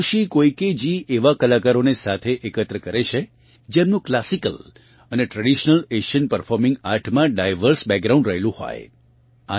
Hiroshi કોઇકેજી એવાં કલાકારોને સાથે એકત્ર કરે છે જેમનું ક્લાસિકલ અને ટ્રેડિશનલ એશિયન પરફોર્મિગ આર્ટમાં ડાયવર્સ બેકગ્રાઉન્ડ રહેલું હોય